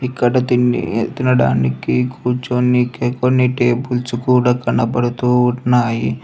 ఇక్కడ తినడానికి కూర్చొనికి కొన్ని టేబుల్స్ కూడ కనబడుతూ ఉన్నాయి.